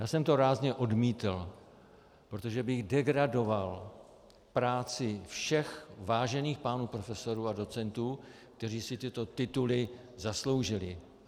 Já jsem to rázně odmítl, protože bych degradoval práci všech vážených pánů profesorů a docentů, kteří si tyto tituly zasloužili.